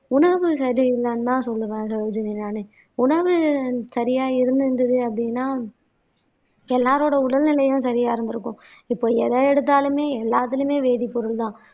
உணவு சரி இல்லைன்னுதான் சொல்லுவேன் சரோஜினி நானு உணவு சரியா இருந்திருந்தது அப்படின்னா எல்லாரோட உடல்நிலையும் சரியா இருந்திருக்கும். இப்ப எத எடுத்தாலுமே எல்லாத்துலயுமே வேதிப்பொருள்தான்